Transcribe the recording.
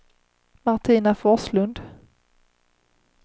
Martina Forslund